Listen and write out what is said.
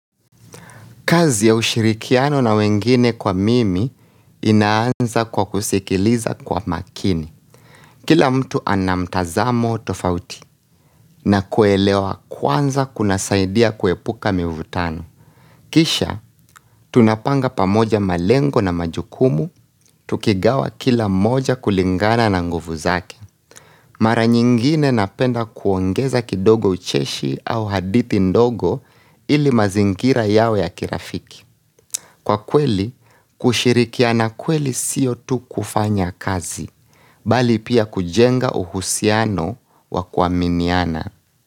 Kazi ya ushirikiano na wengine kwa mimi inaanza kwa kusikiliza kwa makini. Kila mtu anamtazamo tofauti na kuelewa kwanza kuna saidia kuepuka mivutano. Kisha, tunapanga pamoja malengo na majukumu, tukigawa kila moja kulingana na nguvu zake. Mara nyingine napenda kuongeza kidogo ucheshi au hadithi ndogo ili mazingira yawe ya kirafiki. Kwa kweli, kushirikiana kweli siyo tu kufanya kazi, bali pia kujenga uhusiano wa kuaminiana.